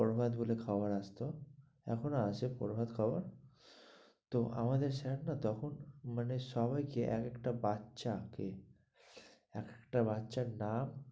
বরবাদ বলে খবর আসতো এখন আসে বরবাদ খবর তো আমাদের স্যার না তখন মানে সবাই কে এক একটা বাচ্চাকে এক একটা বাচ্চার নাম,